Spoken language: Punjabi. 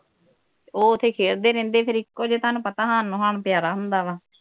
ਉਹ ਉਥੇ ਖੇਲਦੇ ਰਹਿੰਦੇ ਹੀ ਫਿਰ ਇਕੋ ਜੇ ਤੁਹਾਨੂੰ ਪਤਾ ਹਾਣ ਨੂੰ ਹਾਣ ਪਿਆਰਾ ਹੁੰਦਾ